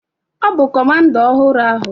Ọ bụ comanda ọhụrụ ahụ.